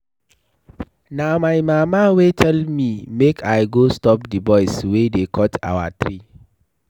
Na my mama wey tell me make I go stop the boys wey dey cut our tree.